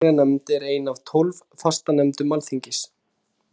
Allsherjarnefnd er ein af tólf fastanefndum Alþingis.